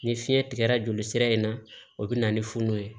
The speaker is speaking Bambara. Ni fiɲɛ tigɛra jolisira in na o bɛ na ni funu ye